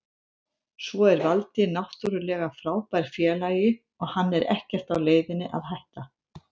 Svo er Valdi náttúrulega frábær félagi og hann er ekkert á leiðinni að hætta.